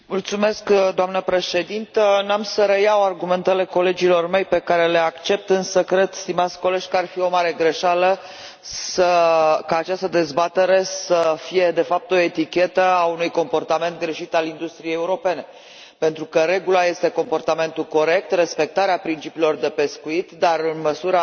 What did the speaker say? Doamnă președintă, nu voi relua argumentele colegilor mei pe care le accept, însă cred, stimați colegi, că ar fi o mare greșeală ca această dezbatere să fie, de fapt, o etichetă a unui comportament greșit al industriei europene pentru că regula este comportamentul corect, respectarea principiilor de pescuit, dar în măsura în care